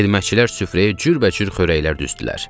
Xidmətçilər süfrəyə cürbəcür xörəklər düzdülər.